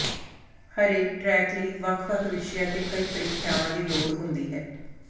ਹਰੇਕ ਟਰੈਕ ਲਈ ਵੱਖ ਵੱਖ ਵਿਸ਼ਿਆਂ ਤੇ ਕਈ ਪ੍ਰੀਖਿਆਵਾਂ ਦੀ ਲੋੜ ਹੁੰਦੀ ਹੈ